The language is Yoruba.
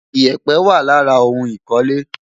Ìyẹ̀pẹ̀ wà lára ohun ìkọ́lé.